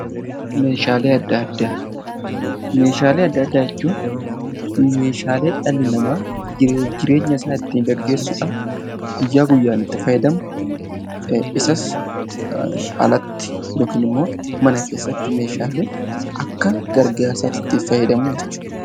Meeshaalee adda addaa jechuun meeshaalee dhalli namaa jiruu fi jireenya isaa ittiin gaggeessuudhaaf guyyaa guyyaan itti fayyadamu isas alatti yookiin immoo mana keessatti meeshaalee Akka gargaarsaatti fayyadamuu jechuudha